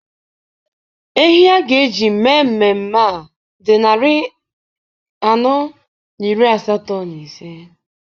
Ehi a ga-eji mee mmemme a dị narị anọ na iri asatọ na ise.